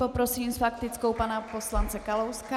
Poprosím s faktickou pana poslance Kalouska.